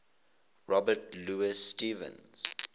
robert louis stevenson